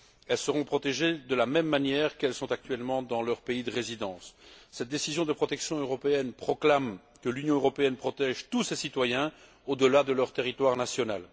Elles seront protégées de la même manière qu'elles le sont actuellement dans leur pays de résidence. Cette décision de protection européenne proclame que l'Union européenne protège tous ses citoyens, au delà de leur territoire national.